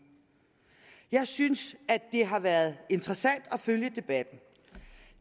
jeg synes det har været interessant at følge debatten